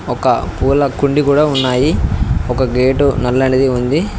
ఒక పూల కుండి కూడా ఉన్నాయి ఒక గేటు నల్లనిది ఉంది.